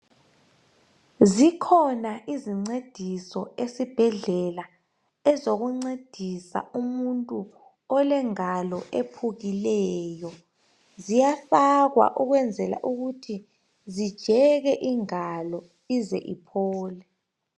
Zikhona izincediso esibhedlela. Ezokuncedisa umuntu olengalo, ephukileyo. Ziyafakwa ukwenzela ukuthi zijeke ingalo. Ize, iphole.